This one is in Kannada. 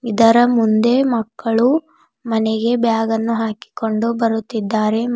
ಇದರ ಮುಂದೆ ಮಕ್ಕಳು ಮನೆಗೆ ಬ್ಯಾಗನ್ನು ಹಾಕಿಕೊಂಡು ಬರುತ್ತಿದ್ದಾರೆ.